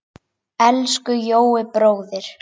Elsku Jói bróðir.